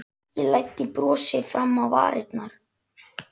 Ég læddi brosi fram á varirnar.